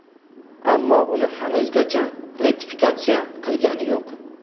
Ammo uni hanuzgacha ratifikatsiya qilgani yo‘q.